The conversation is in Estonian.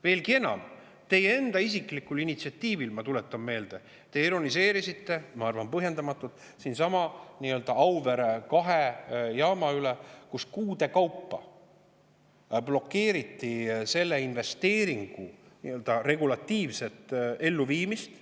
Veelgi enam, teie enda isiklikul initsiatiivil, ma tuletan meelde – te ironiseerisite minu arvates põhjendamatult Auvere kahest jaamast rääkides –, kuude kaupa blokeeriti selle investeeringu regulatiivset elluviimist.